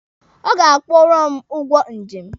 Ọ ga-akwụrụ m ụgwọ njem.